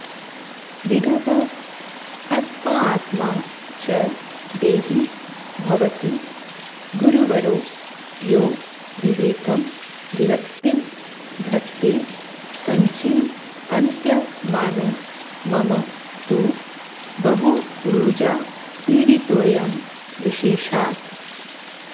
विड्भस्मात्मा च देहि भवति गुरुवरो यो विवेकं विरक्तिं धत्ते सञ्चिन्त्यमानो मम तु बहुरुजापीडितोऽयं विशेषात्